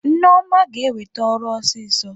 Nneoma ga-enwete ọrụ ọsịsọ.